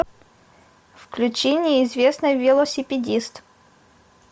включи неизвестный велосипедист